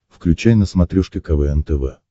включай на смотрешке квн тв